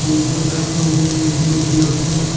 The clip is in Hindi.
बोतल रखा हुआ है ब्लू कलर का।